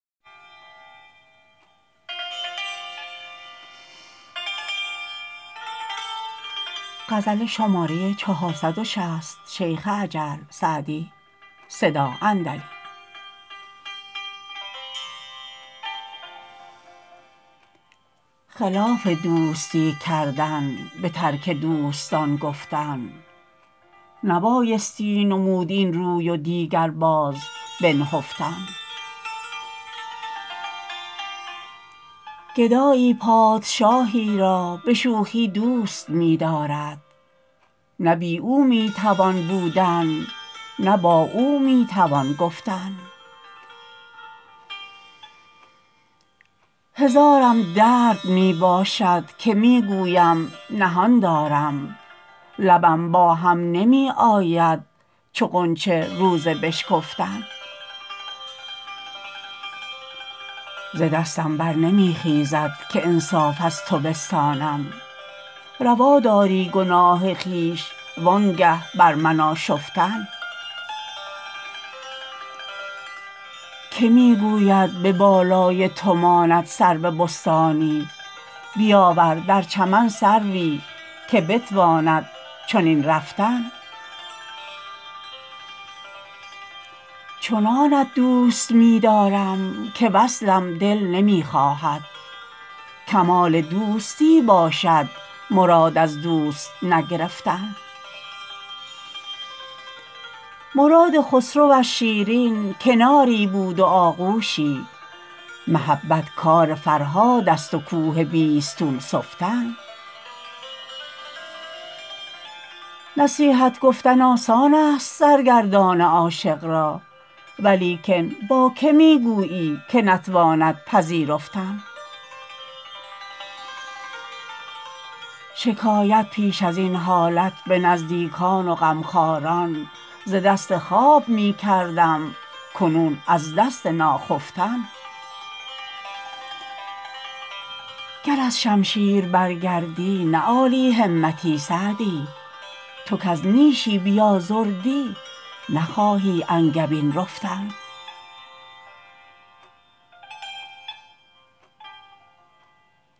خلاف دوستی کردن به ترک دوستان گفتن نبایستی نمود این روی و دیگر باز بنهفتن گدایی پادشاهی را به شوخی دوست می دارد نه بی او می توان بودن نه با او می توان گفتن هزارم درد می باشد که می گویم نهان دارم لبم با هم نمی آید چو غنچه روز بشکفتن ز دستم بر نمی خیزد که انصاف از تو بستانم روا داری گناه خویش و آنگه بر من آشفتن که می گوید به بالای تو ماند سرو بستانی بیاور در چمن سروی که بتواند چنین رفتن چنانت دوست می دارم که وصلم دل نمی خواهد کمال دوستی باشد مراد از دوست نگرفتن مراد خسرو از شیرین کناری بود و آغوشی محبت کار فرهاد است و کوه بیستون سفتن نصیحت گفتن آسان است سرگردان عاشق را ولیکن با که می گویی که نتواند پذیرفتن شکایت پیش از این حالت به نزدیکان و غمخواران ز دست خواب می کردم کنون از دست ناخفتن گر از شمشیر برگردی نه عالی همتی سعدی تو کز نیشی بیازردی نخواهی انگبین رفتن